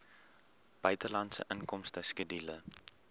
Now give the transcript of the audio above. buitelandse inkomste skedule